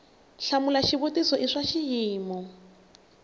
hlamula xivutiso i swa xiyimo